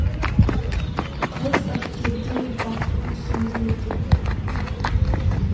қыз әдеттегідей бақтың ішінде екен